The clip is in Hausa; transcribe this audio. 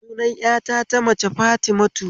Sunan ƴata ta mace Fatimatu